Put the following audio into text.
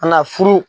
An ka furu